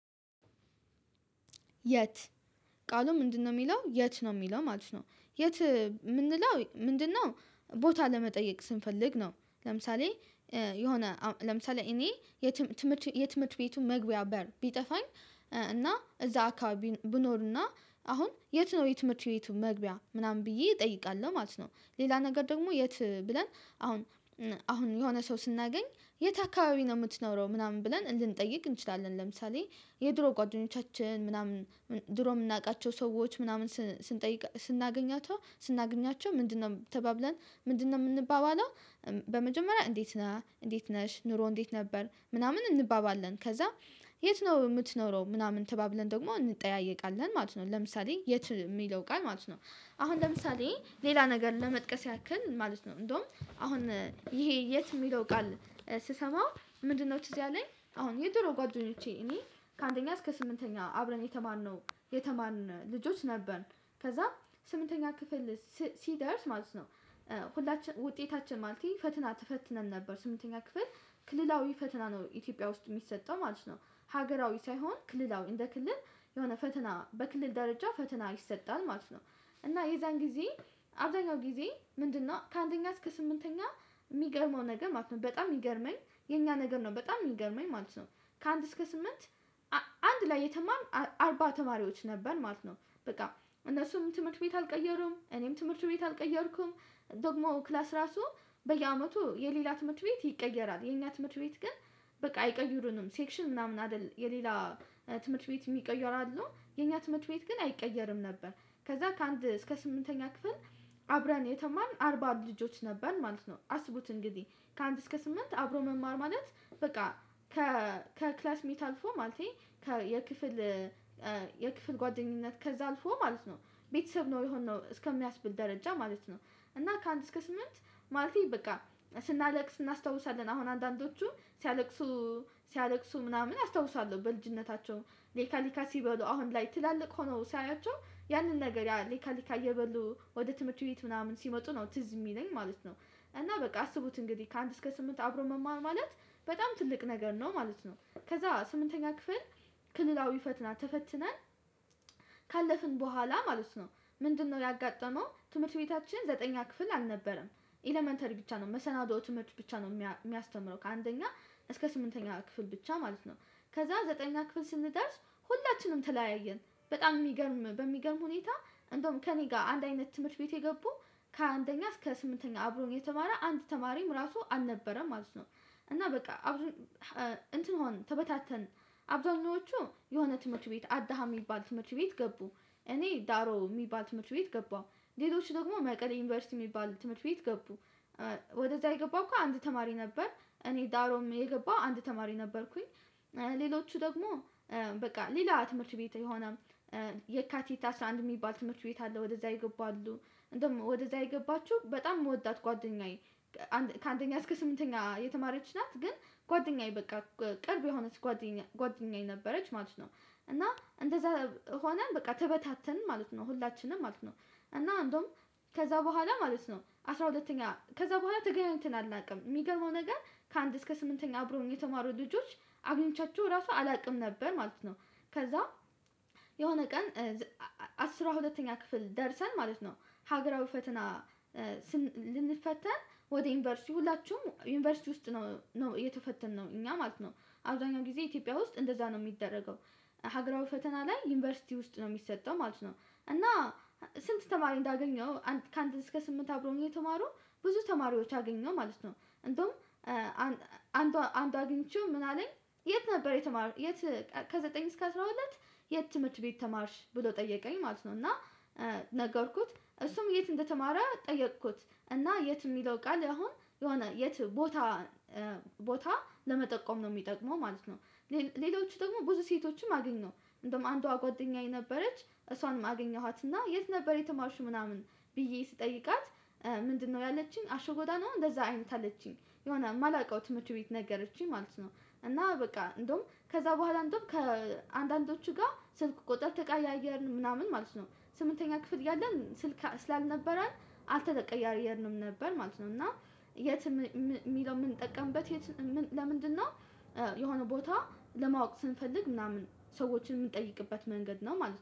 የት ቃሉ ምንድነው የሚለው የት ነው የሚለው ማለት ነው የት የምንለው ምንድነው? ቦታ ለመጠየቅ ስንፈልግ ነው። ለምሳሌ የሆነ ለምሳሌ እኔ የትምህርት የትምህርት ቤቱ መግቢያ በር ቢጠፋኝ። እና እዛ አካባቢ ብኖርና አሁን የት ነው የትምህርት ቤቱ መግቢያ ምናምን ብዬ እጠይቃለሁ ማለት ነው። ሌላ ነገር ደግሞ የት ብለን? አሁን አሁን የሆነ ሰው ስናገኝ የት አካባቢ ነው የምትኖረው ምናምን ብለን ልንጠይቅ እንችላለን። ለምሳሌ የድሮ ጓደኞቻችን ምናምን ድሮ የምናውቃቸው ሰዎች ምናምን ስንጠይቅ ስናገኛቸው ስናገኛቸው ምንድነው ተባብለን ምንድነው የምንባባለው? በመጀመሪያ እንዴት ነህ እንዴት ነሽ ኑሮ እንዴት ነበር ምናምን እንባባለን። ከዛ የት ነው የምትኖረው ምናምን ተባብለን ደግሞ እንጠያየቃለን ማለት ነው። ለምሳሌ የት የሚለው ቃል ማለት ነው። አሁን ለምሳሌ ሌላ ነገር ለመጥቀስ ያክል ማለት ነው እንደውም አሁን ይሄ የት የሚለው ቃል ስሰማው ምንድነው ትዝ ያለኝ አሁን የድሮ ጓደኞቼ እኔ ከአንደኛ እስከ ስምንተኛ አብረን የተማርነው። ልጆች ነበር ከዛ ስምንተኛ ክፍል ሲደርስ ማለት ነው። ሁላችን ውጤታችን ማለት ፈትና ተፈትነን ነበር ስምንተኛ ክፍል ክልላዊ ፈትና ነው ኢትዮጵያ ውስጥ የሚሰጠው ማለት ነው። ሀገራዊ ሳይሆን ክልላዊ እንደ ክልል የሆነ ፈተና በክልል ደረጃ ፈተና ይሰጣል ማለት ነው። እና የዛን ጊዜ አብዛኛው ጊዜ ምንድነው ከአንደኛ እስከ ስምንተኛ የሚገርመው ነገር ማለት ነው በጣም የሚገርመኝ የኛ ነገር ነው በጣም የሚገርመኝ ማለት ነው። ከአንድ እስከ ስምንት። አንድ ላይ የተማርን አርባ ተማሪዎች ነበር ማለት ነው። በቃ እነሱም ትምህርት ቤት አልቀየሩም እኔም ትምህርት ቤት አልቀየርኩም። ደግሞ ክላስ ራሱ በየአመቱ የሌላ ትምህርት ቤት ይቀየራል የኛ ትምህርት ቤት ግን። በቃ አይቀይሩንም ሴክሽን ምናምን አይደል የሌላ ትምህርት ቤት የሚቀየር አለው የኛ ትምህርት ቤት ግን አይቀየርም ነበር። ከዛ ከአንድ እስከ ስምንተኛ ክፍል አብረን የተማርን አርባ ልጆች ነበር ማለት ነው። አስቡት እንግዲህ ካንንድ እስከ ስምንት አብሮ መማር ማለት በቃ ከክላስ ሚት አልፎ ማለት የክፍል የክፍል ጓደኝነት ከዛ አልፎ ማለት ነው። ቤተሰብ ነው የሆነው እስከሚያስብል ደረጃ ማለት ነው። እና ከአንድ እስከ ስምንት ማለቴ በቃ ስናለቅስ እናስታውሳለን አሁን አንዳንዶቹ ሲያለቅሱ ሲያለቅሱ ምናምን አስታውሳለሁ በልጅነታቸው ሊካ ሊካ ሲበሉ አሁን ላይ ትላልቅ ሆነው ሳያያቸው ያንን ነገር ያ ሊካ ሊካ እየበሉ ወደ ትምህርት ቤት ምናምን ሲመጡ ነው ትዝ የሚለኝ ማለት ነው። እና በቃ አስቡት እንግዲህ ከአንድ እስከ ስምንት አብሮ መማር ማለት በጣም ትልቅ ነገር ነው ማለት ነው። ከዛ ስምንተኛ ክፍል ክልላዊ ፈትና ተፈትነን ካለፍን በኋላ ማለት ነው። ምንድነው ያጋጠመው ትምህርት ቤታችን ዘጠነኛ ክፍል አልነበረም። ኤለመንተሪ ብቻ ነው መሰናዶ ትምህርት ብቻ ነው የሚያስተምረው ከአንደኛ እስከ ስምንተኛ ክፍል ብቻ ማለት ነው። ከዛ ዘጠነኛ ክፍል ስንደርስ ሁላችንም ተለያየን በጣም የሚገርም በሚገርም ሁኔታ እንደውም ከእኔ ጋር አንድ አይነት ትምህርት ቤት የገቡ ከአንደኛ እስከ ስምንተኛ አብሮኝ የተማረ አንድ ተማሪም ራሱ አልነበረም ማለት ነው። እና በቃ አብሮኝ እንትን ሆን ተበታተን አብዛኞቹ የሆነ ትምህርት ቤት አዳሃ የሚባል ትምህርት ቤት ገቡ። እኔ ዳሮ የሚባል ትምህርት ቤት ገባሁ። ሌሎች ደግሞ መቀሌ ዩኒቨርሲቲ የሚባል ትምህርት ቤት ገቡ። ወደዛ የገባው አንድ ተማሪ ነበር እኔ ዳሮም የገባሁ አንድ ተማሪ ነበርኩኝ። ሌሎቹ ደግሞ በቃ ሌላ ትምህርት ቤት የሆነ የካቲታ አስራ አንድ የሚባል ትምህርት ቤት አለ ወደዛ ይገቡ አሉ። እንደውም ወደዛ የገባችሁ በጣም የምወዳት ጓደኛዬ ከአንደኛ እስከ ስምንተኛ የተማረች ናት ግን ጓደኛዬ በቃ ቅርብ የሆነች ጓደኛ ጓደኛዬ ነበረች ማለት ነው እና እንደዛ ሆነን በቃ ተበታተን ማለት ነው ሁላችንም ማለት ነው። እና አንዱም ከዛ በኋላ ማለት ነው አስራ ሁለተኛ ከዛ በኋላ ትገናኝትን አናውቅም የሚገባው ነገር ከአንድ እስከ ስምንተኛ አብሮ የተማሩ ልጆች አግኝቻችሁ ራሱ አላውቅም ነበር ማለት ነው። ከዛ የሆነ ቀን አስራ ሁለተኛ ክፍል ደርሰን ማለት ነው። ሀገራዊ ፈተና ስን ልንፈተን ወደ ዩኒቨርሲቲ ሁላችሁም ዩኒቨርሲቲ ውስጥ ነው ነው የተፈተንነው እኛ ማለት ነው። አብዛኛው ጊዜ ኢትዮጵያ ውስጥ እንደዛ ነው የሚደረገው። ሀገራዊ ፈተና ላይ ዩኒቨርሲቲ ውስጥ ነው የሚሰጠው ማለት ነው። እና ስንት ተማሪ እንዳገኘው አንድ እስከ ስምንት አብሮኝ የተማሩ ብዙ ተማሪዎች አገኘው ማለት ነው። እንደውም አንዷ አግኝቼው ምን አለኝ። የት ነበር የተማርሽ የት? ከዘጠኝ እስከ አስራ ሁለት የት ትምህርት ቤት ተማርሽ ብሎ ጠየቀኝ ማለት ነው። እና ነገርኩት እሱም የት እንደተማረ ጠየቅኩት። እና የት የሚለው ቃል አሁን የሆነ የት ቦታ ቦታ ለመጠቆም ነው የሚጠቅመው ማለት ነው። ሌሎቹ ደግሞ ብዙ ሴቶችም አገኘሁ እንደውም አንዷ ጓደኛዬ ነበረች እሷንም አገኘኋትና የት ነበር የተማርሽ ምናምን ብዬ ስጠይቃት። ምንድነው ያለችኝ አሸጎዳ ነው እንደዛ አይነት አለችኝ የሆነ የማላውቀው ትምህርት ቤት ነገረችኝ ማለት ነው። እና በቃ እንደውም ከዛ በኋላ እንደውም ከአንዳንዶቹ ጋር ስልክ ቁጥር ተቀያየርን ምናምን ማለት ነው። ስምንተኛ ክፍል እያለን ስልክ ስላልነበረን አልተቀያየርንም ነበር ማለት ነው። እና የት የሚለው የምንጠቀምበት የት ለምንድነው? የሆነ ቦታ ለማወቅ ስንፈልግ ምናምን ሰዎችን የምንጠይቅበት መንገድ ነው ማለት ነው